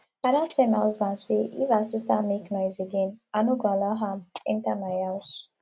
i don tell my husband say if her sister make noise again i no go allow am enter my house